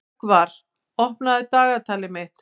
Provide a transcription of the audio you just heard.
Rögnvar, opnaðu dagatalið mitt.